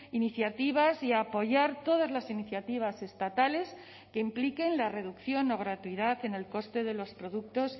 iniciativas y apoyar todas las iniciativas estatales que impliquen la reducción o gratuidad en el coste de los productos